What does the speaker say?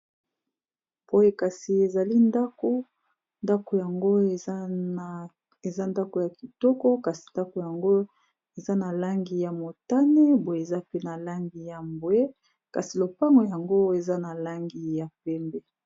Boye kasi ezali ndako ndako yango eza ndako ya kitoko kasi ndako yango eza na langi ya motane boye eza pe na langi ya mbwe kasi lopango yango eza na langi ya pembe.